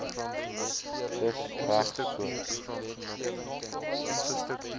dis reg so